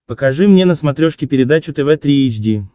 покажи мне на смотрешке передачу тв три эйч ди